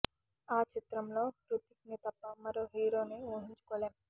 ఆ చిత్రంలో హృతిక్ ని తప్ప మరో హీరోని ఊహించుకోలేం